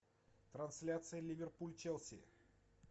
трансляция ливерпуль челси